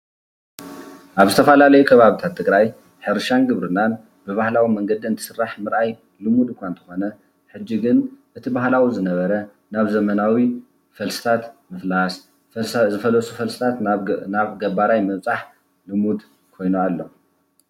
ኣብ ዝተፈላለዩ ከባብታት ትግራይ ሕርሻን ግብርናን ብባህላዊ መንገዲ እንትስራሕ ምርኣይ ልሙድ እኳ እንተኾነ ሕጂ ግን እቲ ባህላዊ ዝነበረ ናብ ዘመናዊ ፈልስታት ምፍላስ፣ ዝፈለሱ ፈልስታት ናብ ገባራይ ምብፃሕ ልሙድ ኮይኑ ኣሎ።